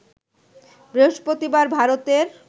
বৃহস্পতিবার ভারতের